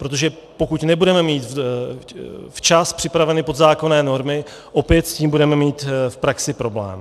Protože pokud nebudeme mít včas připraveny podzákonné normy, opět s tím budeme mít v praxi problém.